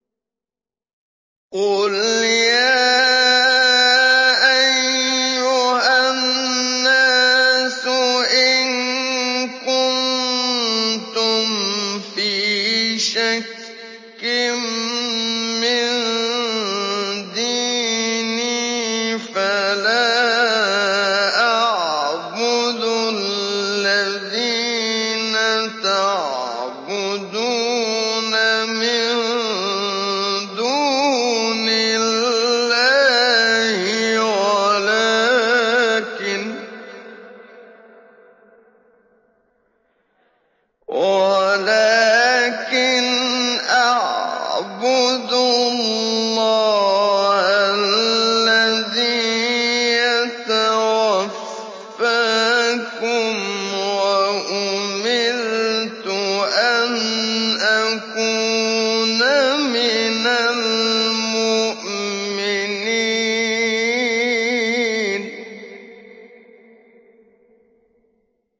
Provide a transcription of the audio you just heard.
قُلْ يَا أَيُّهَا النَّاسُ إِن كُنتُمْ فِي شَكٍّ مِّن دِينِي فَلَا أَعْبُدُ الَّذِينَ تَعْبُدُونَ مِن دُونِ اللَّهِ وَلَٰكِنْ أَعْبُدُ اللَّهَ الَّذِي يَتَوَفَّاكُمْ ۖ وَأُمِرْتُ أَنْ أَكُونَ مِنَ الْمُؤْمِنِينَ